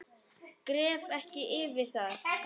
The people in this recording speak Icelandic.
Gref ekki yfir það.